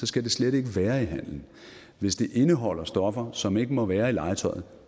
skal det slet ikke være i handel hvis det indeholder stoffer som ikke må være i legetøjet